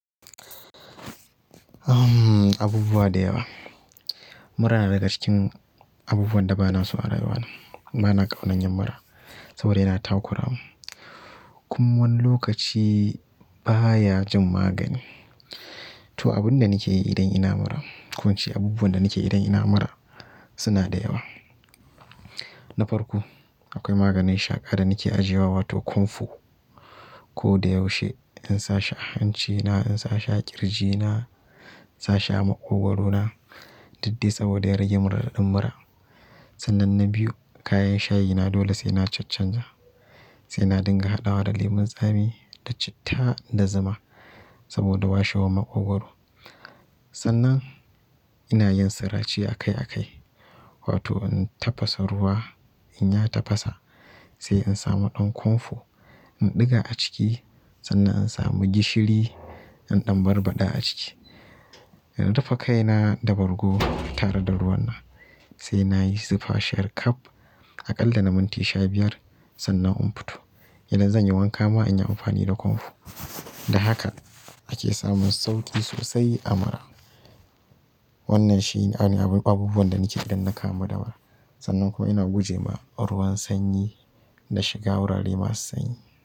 Abubuwa da yawa. Mura na daga cikin abubuwan da ba na so a rayuwa. Ba na ƙaunar yin mura saboda yana takura mun. Kuma wani lokaci baya jin magani. To, abin da nake yi idan ina mura ko ince abubuwan da nake yi idan ina mura suna da yawa. Na farko akwai maganin shaƙa da nake ajiyewa wato komfo. Ko da yaushe in sa shi a hanci na in sa shi a ƙirji na in sa shi a makogaro na duk dai saboda ya rage min raɗaɗin mura. Sannan na biyu kayan shayina dole sai na cancanja. Sai na dinga haɗawa da lemun tsami da citta da zuma saboda washewar maƙogwaro. Sannan ina yin sirace akai akai wato in tafasa ruwa, in ya tafasa sai in samu ɗan komfo in ɗiga a ciki sannan in samu gishiri in ɗan barbaɗa a ciki. In rufe kaina da bargo tare da ruwan nan sai na yi zufa shar kaf a ƙalla na minti sha biyar sannan in fito. Idan zan yi wanka ma in yi amfani da komfo. Da haka ake samun sauƙi sosai a mura. Wannan shine abubuwan da nake yi idan na kamu da mura. Sannan kuma ina guje ma ruwan sanyi da shiga wurare masu sanyi.